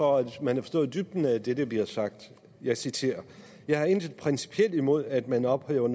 for at man forstår dybden af det der bliver sagt jeg citerer jeg har intet principielt imod at man ophæver